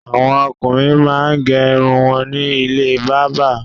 Àwọn ọkùnrin máa ń gé irun wọn ní ilé bábà.